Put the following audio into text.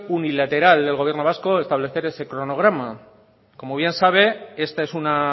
unilateral del gobierno vasco establecer ese cronograma como bien sabe esta es una